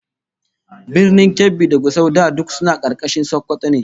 Birnin Kebbi da Gusau da duk suna karkashin Sokoto ne